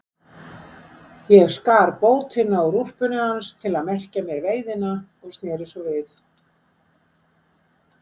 Ég skar bótina úr úlpunni hans til að merkja mér veiðina og sneri svo við.